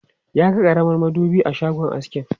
Ya ga karamar madubi a shagon askin.